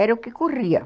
Era o que corria.